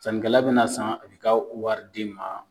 Sannikɛla bɛna san a b'i ka wari d'i ma